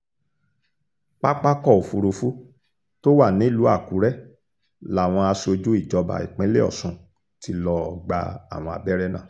pápákọ̀ òfurufú tó wà nílùú àkùrẹ́ làwọn aṣojú ìjọba ìpínlẹ̀ ọ̀ṣun ti lọ́ọ́ gba àwọn abẹ́rẹ́ náà